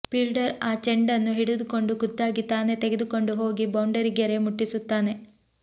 fielder ಆ ಚೆಂಡನ್ನು ಹಿಡಿದುಕೊಂಡು ಖುದ್ದಾಗಿ ತಾನೇ ತೆಗೆದುಕೊಂಡು ಹೋಗಿ ಬೌಂಡರಿ ಗೆರೆ ಮುಟ್ಟಿಸುತ್ತಾನೆ